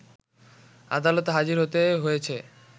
আদালতে হাজির হতে হয়েছে